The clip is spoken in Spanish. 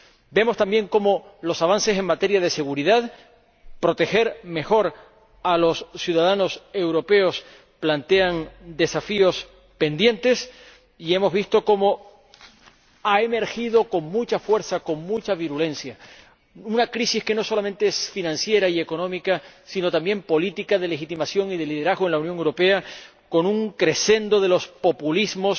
Vemos también cómo los avances en materia de seguridad ―proteger mejor a los ciudadanos europeos― plantean desafíos pendientes y hemos visto cómo ha emergido con mucha fuerza, con mucha virulencia, una crisis que no solamente es financiera y económica, sino también política, de legitimación y de liderazgo en la Unión Europea, con un crescendo de los populismos